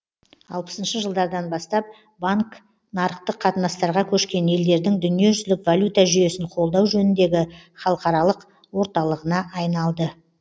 алпысыншы жылдардан бастап банк нарықтық қатынастарға көшкен елдердің дүниежүзілік валюта жүйесін қолдау жөніндегі халықаралық орталығына айналды